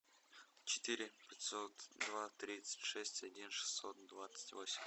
четыре пятьсот два тридцать шесть один шестьсот двадцать восемь